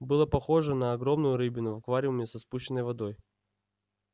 было похоже на огромную рыбину в аквариуме со спущенной водой